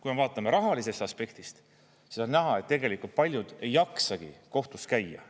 Kui me vaatame rahalisest aspektist, siis on näha, et tegelikult paljud ei jaksagi kohtus käia.